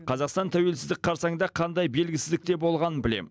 қазақстан тәуелсіздік қарсаңында қандай белгісіздікте болғанын білем